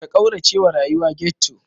Ka kauracewa rayuwa ghetto.